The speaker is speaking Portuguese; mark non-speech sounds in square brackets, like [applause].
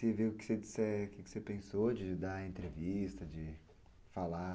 [unintelligible] que você vê o que você pensou de dar a entrevista, de falar...